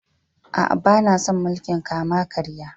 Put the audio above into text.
Aa, bana son mulki'n kama-karya.